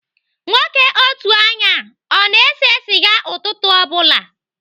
Nwoke otu anya a ọ na-ese sịga ụtụtụ ọ bụla?